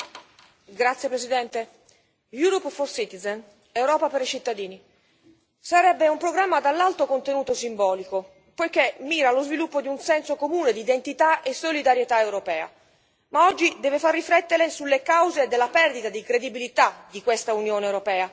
Signor Presidente, onorevoli colleghi, L'Europa per i cittadini sarebbe un programma dall'alto contenuto simbolico, poiché mira allo sviluppo di un senso comune di identità e solidarietà europea, ma oggi deve far riflettere sulle cause della perdita di credibilità di questa Unione europea.